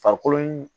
Farikolo in